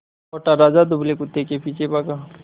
मोटा राजा दुबले कुत्ते के पीछे भागा